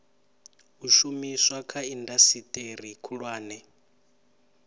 u shumiswa kha indasiteri khulwane